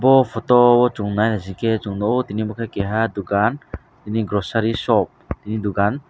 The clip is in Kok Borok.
bo photo o chung nai naisikhe chung nukgo tini bo khe keha dukan tini grocery shopni dukan.